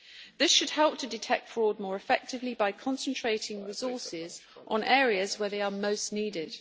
This should help to detect fraud more effectively by concentrating resources on areas where they are most needed.